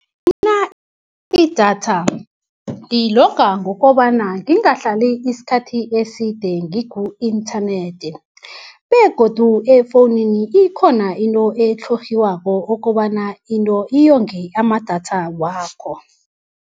idatha ngilonga ngokobana ngingahlali isikhathi eside ngiku-internet begodu efowunini ikhona into etlhorhiwako kobana into iyonge amadatha wakho.